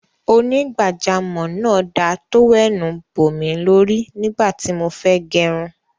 Onígbàjámọ̀ náà da tówẹ́ẹ́nù bòmí lọrù nígbà tí mo fẹ́ gẹrun